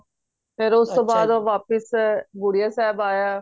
ਫੇਰ ਉਸਤੋਂ ਬਾਦ ਉਹ ਵਾਪਿਸ ਬੁੜੀਆਂ ਸਾਹਿਬ ਆਯਾ